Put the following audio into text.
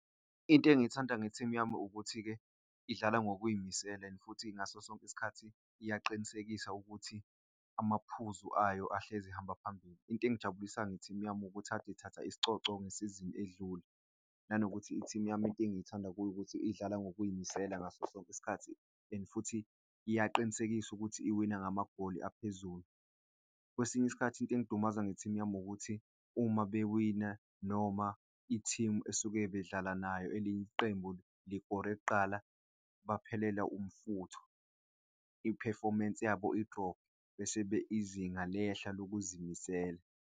Into engiyithanda nge team yami ukuthi-ke idlala ngokuy'misela and futhi ngaso sonke isikhathi iyaqinisekisa ukuthi amaphuzu ayo ahlezi ehamba phambili. Into engijabulisayo nge-team yami ukuthi ade ithatha isicoco ngesizini edlule. Nanokuthi lo i-team yami into engiyithanda kuyo ukuthi idlala ngokuy'misela ngaso sonke isikhathi and futhi iyaqinisekisa ukuthi iwina ngamagoli aphezulu. Kwesinye isikhathi into engidumaza nge-team yami ukuthi uma bewina noma i-team esuke bedlala nayo elinye iqembu likore kuqala, baphelelwa umfutho, i-performance yabo i-drop-e, bese-ke izinga lehla lokuzimisela.